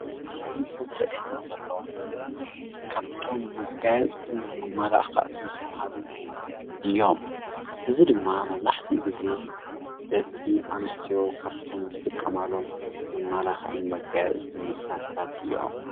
ኣብዚ ምስሊ ዝረኣየና ዘሎ ካብቶም መጋየፅትን መመላክዕትን ዝበሃሉ እዮም። እዚ ድማ መብዛሕትኡ ግዜ ደቂ ኣንስትዮ ካብቶም ዝጥቀማሎም መመላክዕን መጋየፅትን መሳርሕታት እዮም።